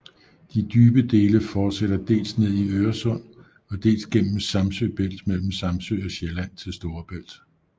De dybe dele fortsætter dels ned i Øresund og dels gennem Samsø Bælt mellem Samsø og Sjælland til Storebælt